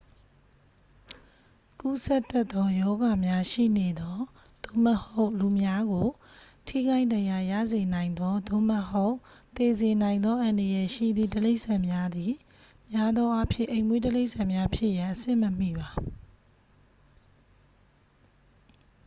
ကူးစက်တတ်သော ရောဂါများရှိနေသော သို့မဟုတ် လူများကို ထိခိုက်ဒဏ်ရာရစေနိုင်သော သို့မဟုတ် သေစေနိုင်သော အန္တရာယ်ရှိသည့်တိရစ္ဆာန်များသည် များသောအားဖြင့် အိမ်မွေးတိရစ္ဆာန်များဖြစ်ရန် အဆင့်မမီပါ